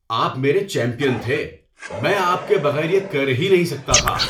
آپ میرے چیمپئن تھے! میں آپ کے بغیر یہ کر ہی نہیں سکتا تھا۔